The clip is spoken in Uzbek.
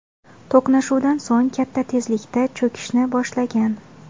To‘qnashuvdan so‘ng katta tezlikda cho‘kishni boshlagan.